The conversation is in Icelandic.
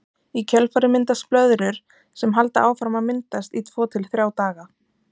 Í kjölfarið myndast blöðrur sem halda áfram að myndast í tvo til þrjá daga.